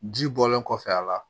Ji bɔlen kɔfɛ a la